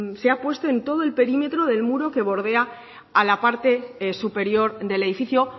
se ha puesto en todo el perímetro del muro que bordea a la parte superior del edificio